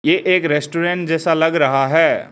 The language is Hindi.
ये एक रेस्टोरेंट जैसा लग रहा है।